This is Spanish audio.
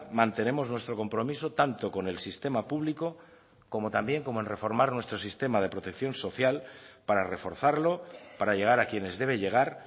mantenemos nuestro compromiso tanto con el sistema público como también con en reformar nuestro sistema de protección social para reforzarlo para llegar a quienes debe llegar